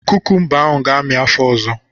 Kukumba ahụ ga-amị afọ ọzọ.